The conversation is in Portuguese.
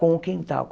Com o quintal.